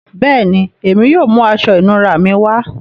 Bẹẹni, èmi yóò mú àṣọ ìnúrà mí wá.